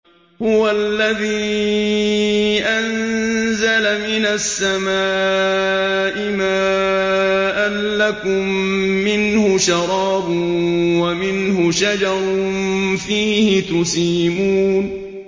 هُوَ الَّذِي أَنزَلَ مِنَ السَّمَاءِ مَاءً ۖ لَّكُم مِّنْهُ شَرَابٌ وَمِنْهُ شَجَرٌ فِيهِ تُسِيمُونَ